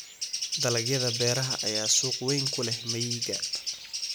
Dalagyada beeraha ayaa suuq weyn ku leh miyiga.